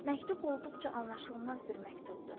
Məktub olduqca anlaşılmaz bir məktubdur.